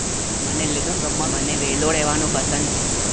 મને વેલ્લો રેવા નું પસંદ છે.